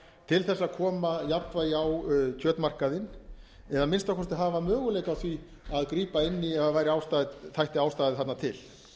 til þess að koma jafnvægi á kjötmarkaðinn eða að minnsta kosti hafa möguleika á því að grípa inn í ef það þætti ástæða þarna til